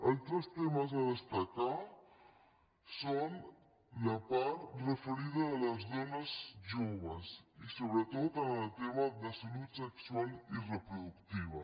altres temes a destacar són la part referida de les dones joves i sobretot en el tema de salut sexual i reproductiva